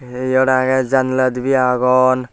eyot agey janala dibey agon.